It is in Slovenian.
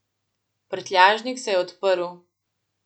Prtljažnik se je odprl.